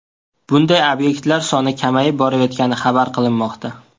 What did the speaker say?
Bunday obyektlar soni kamayib borayotgani xabar qilinmoqda.